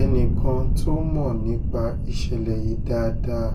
ẹnìkan tó mọ̀ nípa ìṣẹ̀lẹ̀ yìí dáadáa